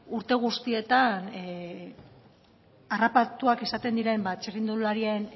urte guztietan harrapatuak izaten diren txirrindularien